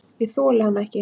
Ég þoli hann ekki.